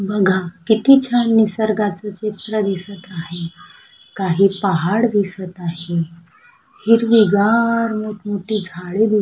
बघा किती छान निसर्गाचं चित्र दिसत आहे काही पहाड दिसत आहे हिरवीगार मोठं मोठी झाड दिस--